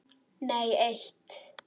Nei eitt.